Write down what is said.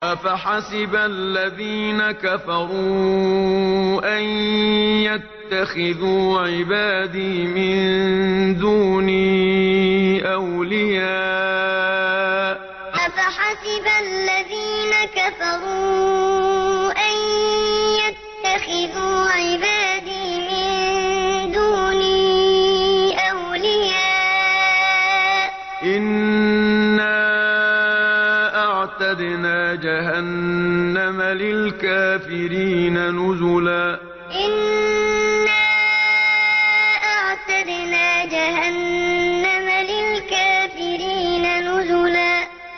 أَفَحَسِبَ الَّذِينَ كَفَرُوا أَن يَتَّخِذُوا عِبَادِي مِن دُونِي أَوْلِيَاءَ ۚ إِنَّا أَعْتَدْنَا جَهَنَّمَ لِلْكَافِرِينَ نُزُلًا أَفَحَسِبَ الَّذِينَ كَفَرُوا أَن يَتَّخِذُوا عِبَادِي مِن دُونِي أَوْلِيَاءَ ۚ إِنَّا أَعْتَدْنَا جَهَنَّمَ لِلْكَافِرِينَ نُزُلًا